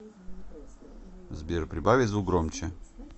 сбер прибавить звук громче